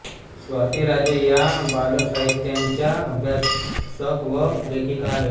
स्वाती राजे या बालसाहित्याच्या अभ्यासक व लेखिका आहेत